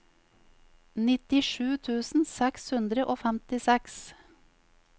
nittisju tusen seks hundre og femtiseks